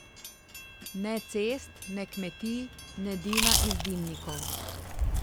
Ne cest, ne kmetij, ne dima iz dimnikov.